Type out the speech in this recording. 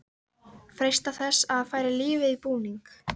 Freista þess að færa lífið í búning.